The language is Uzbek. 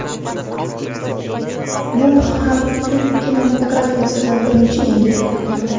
Bu ham hind kinematografiyasida birinchi yangilik bo‘lgan.